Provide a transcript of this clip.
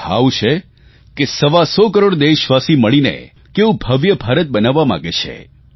આ ભાવ છે કે સવા સો કરોડ દેશવાસી મળીને કેવું ભવ્ય ભારત બનાવવા માગે છે